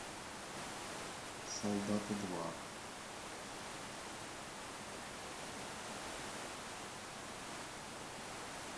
солдаты два